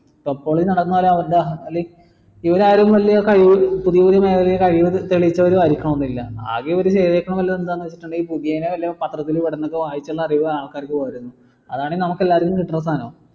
ഇവരാരും വലിയ കഴിവ് പുതിയ പുതിയ വലിയ കഴിവ് തെളിയിച്ചവരും ആയിരിക്കണമെന്നില്ല ആകെ ഒരു പുതിയത് വല്ല പത്രത്തിലും വരുന്ന വായിച്ചുള്ള അറിവേ ആൾക്കാരിക്കുള്ളൂ അതാണ് നമുക്ക് എല്ലാവർക്കും കിട്ടണ സാധനം